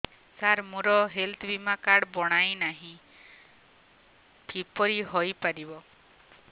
ସାର ମୋର ହେଲ୍ଥ ବୀମା କାର୍ଡ ବଣାଇନାହିଁ କିପରି ହୈ ପାରିବ